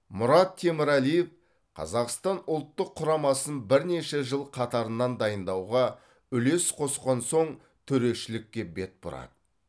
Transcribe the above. мұрат темірәлиев қазақстан ұлттық құрамасын бірнеше жыл қатарынан дайындауға үлес қосқан соң төрешілікке бет бұрады